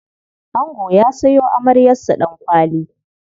Ango ya sayo amaryarsa Ɗankwali.